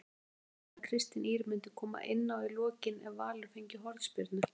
Var það planað að Kristín Ýr myndi koma inná í lokin ef Valur fengi hornspyrnu?